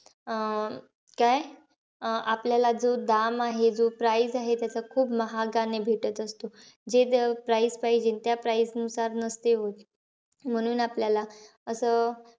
अं काय? अं आपल्याला जो दाम आहे जो price आहे, खूप महागाने भेटत असतो. जे price पाहिजे त्या price नुसार नसते होत. म्हणून आपल्याला,